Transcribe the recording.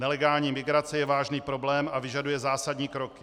Nelegální migrace je vážný problém a vyžaduje zásadní kroky.